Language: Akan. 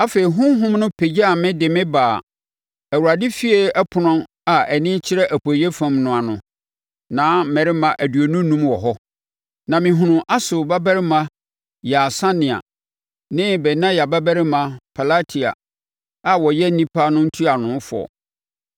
Afei, honhom no pagyaa me de me baa Awurade efie ɛpono a ani kyerɛ apueeɛ fam no ano. Na mmarima aduonu enum wɔ hɔ, na mehunuu Asur babarima Yaasania ne Benaia babarima Pelatia a wɔyɛ nnipa no ntuanofoɔ.